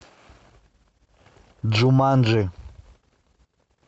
джуманджи